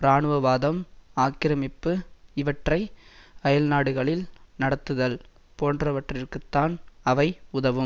இராணுவவாதம் ஆக்கிரமிப்பு இவற்றை அயல்நாடுகளில் நடத்துதல் போன்றவற்றிற்குத்தான் அவை உதவும்